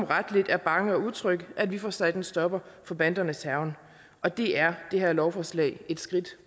rette er bange og utrygge at vi får sat en stopper for bandernes hærgen og det er det her lovforslag et skridt